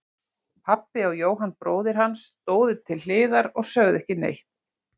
Pabbi og Jóhann bróðir hans stóðu til hliðar og sögðu ekki neitt.